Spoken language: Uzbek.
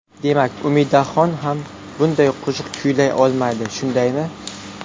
Demak, Umidaxon ham bunday qo‘shiq kuylay olmaydi, shundaymi?